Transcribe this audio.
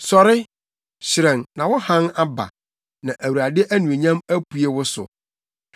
“Sɔre, hyerɛn, na wo hann aba, na Awurade anuonyam apue wo so.